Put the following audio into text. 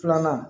Filanan